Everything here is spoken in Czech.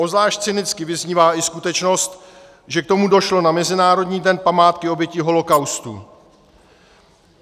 Obzvlášť cynicky vyznívá i skutečnost, že k tomu došlo na Mezinárodní den památky obětí holokaustu.